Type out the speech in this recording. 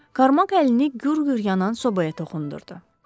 Karmak əlini gür-gür yanan sobaya toxundurdu.